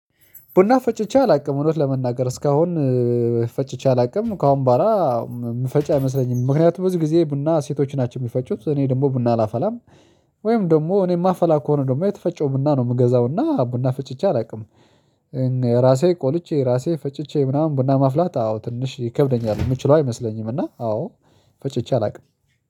ቡና ፈጭቼ አላውቅም እውነት ለመናገር እስካሁን ፈጭቼ አላውቅም ከአሁን በኋላ ምፈጭ አይመስለኝም። ምክንያቱም ብዙ ጊዜ ቡና ሴቶች ናቸው የሚፈጩት እኔ ደግሞ ቡና አላፈላም። ወይም ደግሞ እኔ የማፈላ ከሆነ ደግሞ የተፈጨው ቡና ነው የምገዛውና ቡና ፈጭቼ አላውቅም። ራሴ ቆልቼ ራሴ ፈጭቼ ምናምን ቡና ማፍላት አዎ ትንሽ ይከብደኛል የምችለው አይመስለኝም። እና አዎ ፈጭቼ አላውቅም